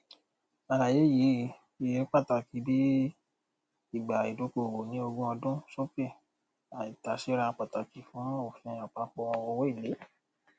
àlàyé yìí yìí pàtàkì bí ìgbà ìdókòòwò ní ogún ọdún sókè àìtàséra pàtàkì fún òfin àpapọ owóèlé